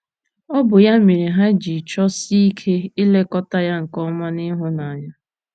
Ọ bụ ya mere ha ji chọsie ike ilekọta ya nke ọma na ịhụnanya.